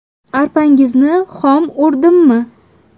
Arpangizni hom o‘rdimmi?